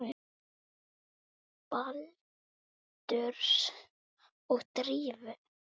Baldurs og Drífu?